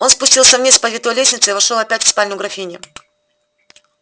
он спустился вниз по витой лестнице и вошёл опять в спальню графини